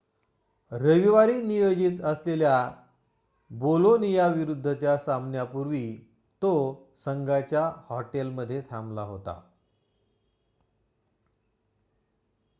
रविवारी नियोजित असलेल्या बोलोनियाविरुद्धच्या सामन्यापूर्वी तो संघाच्या हॉटेलमध्ये थांबला होता